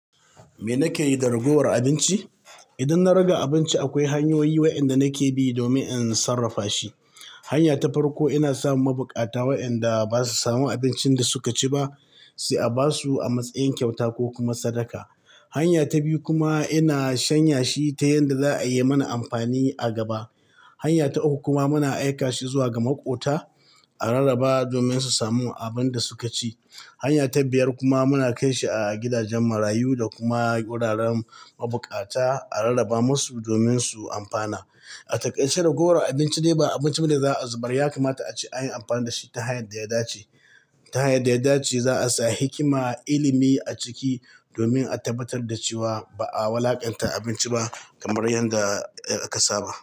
Me nake yi da ragowar abinci? Idan na riga abinci, akwai hanyoyi waɗanda nake bi domin in sarrafa shi. Hanya ta farko, ina sa wa mabukata waɗanda ba su samu abincin da suka ci ba, sai a ba su a matsayin kyauta ko kuma sadaka. Hanya ta biyu kuma ina shanya shi ta yanda za a yi mana amfani a gaba. Hanya ta uku kuma muna aika shi zuwa ga maƙota a rarraba domin su samu abin da suka ci. Hanya ta biyar kuma muna kai shi a gidajen marayu da kuma wuraren mabukata a rarraba masu domin su amfana. A takaice ragowar abinci dai ba abinci ba da za a zubar, ya kamata a ci yin amfani da shi ta hanyar da ya dace. Ta hanyar da ya dace za a sa hikima, ilimi a ciki domin a tabbatar da cewa ba a walaƙanta abinci ba kamar yadda a kasaba.